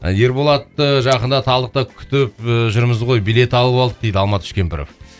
ерболатты жақында талдықта күтіп ііі жүрміз ғой билет алып алдық дейді алмат үшкемпіров